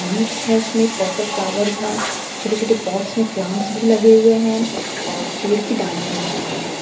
Leaves हैं उसमें purple flower हैं छोटे छोटे पॉटस में प्लांट्स भी लगे हुए हैं और पेड़ की डालियाँ भी नजर आ रही हैं।